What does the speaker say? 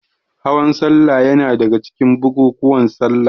Hawan salla yana daga cikin bukukuwan salla.